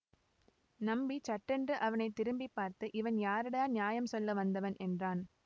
நம்பி சட்டென்று அவனை திரும்பி பார்த்து இவன் யாரடா நியாயம் சொல்ல வந்தவன் என்றான்